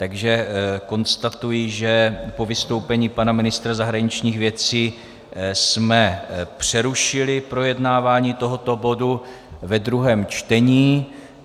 Takže konstatuji, že po vystoupení pana ministra zahraničních věcí jsme přerušili projednávání tohoto bodu ve druhém čtení.